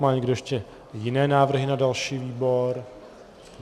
Má někdo ještě jiné návrhy na další výbor?